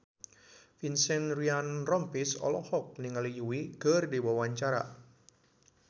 Vincent Ryan Rompies olohok ningali Yui keur diwawancara